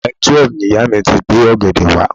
Mile twelve ni ìyá mi ti gbé ọ̀gẹ̀dẹ̀ wá.